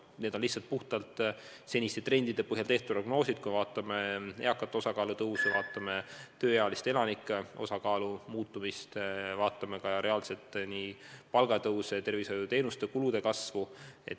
Need on puhtalt seniste trendide põhjal tehtud prognoosid, mis võtavad arvesse eakate osakaalu kasvu, tööealiste elanike osakaalu muutumist, ka reaalset palga ja tervishoiuteenuste kulude kasvu.